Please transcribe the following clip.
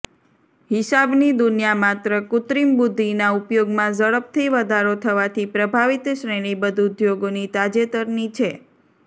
હિસાબની દુનિયા માત્ર કૃત્રિમ બુદ્ધિના ઉપયોગમાં ઝડપથી વધારો થવાથી પ્રભાવિત શ્રેણીબદ્ધ ઉદ્યોગોની તાજેતરની છે